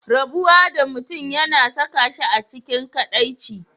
Rabuwa da mutum yana saka shi a cikin kadaici.